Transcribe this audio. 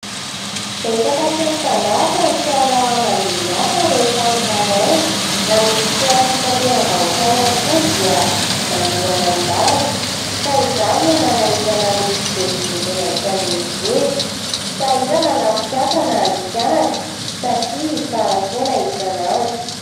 Betsaka sy mitandahatra ny fiara mandeha miasa rehefa amin'ny maraina. Na ny fiara fitateram-bahoaka ihany koa dia manohana ny lalana. Ka izany no manahirana ny fivezivezena eto andrenivohitra. Sahirana na ny mpiasa na ny mpianatra satria tara foana isan'andro.